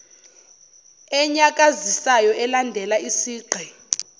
enyakazisayo elandela isigqi